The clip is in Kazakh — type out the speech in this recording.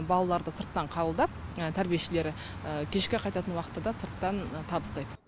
балаларды сырттан қабылдап тәрбиешілері кешке қайтатын уақытта да сырттан табыстайды